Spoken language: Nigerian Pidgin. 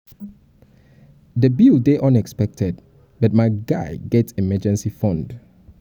the bill dey unexpected but my guy get emergency fund